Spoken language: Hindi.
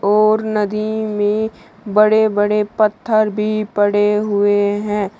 और नदी में बड़े-बड़े पत्थर भी पड़े हुए हैं।